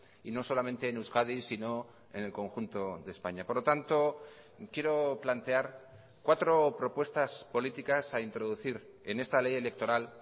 y no solamente en euskadi sino en el conjunto de españa por lo tanto quiero plantear cuatro propuestas políticas a introducir en esta ley electoral